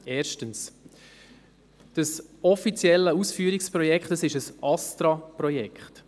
Erstens: Das offizielle Ausführungsprojekt ist ein ASTRA-Projekt.